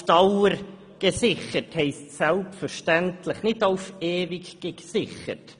Auf Dauer gesichert» heisst selbstverständlich nicht «auf ewig gesichert».